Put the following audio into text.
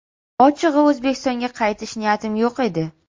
Ochig‘i, O‘zbekistonga qaytish niyatim yo‘q edi.